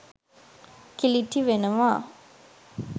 කිලිටි වෙනවා.